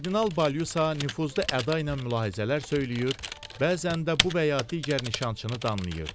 Kardinal Balisa nüfuzlu əda ilə mülahizələr söyləyir, bəzən də bu və ya digər nişançını danlayırdı.